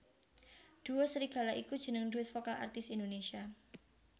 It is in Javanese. Duo Serigala iku jeneng duet vokal artis Indonesia